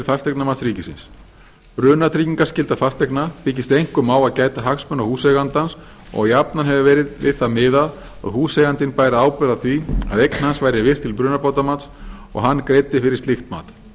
fasteignamats ríkisins brunatryggingarskylda húseigna byggist einkum á að gæta hagsmuna húseigandans og jafnan hefur verið við það miðað að húseigandinn bæri ábyrgð á því að eign hans væri virt til brunabótamats og hann greiddi fyrir slíkt mat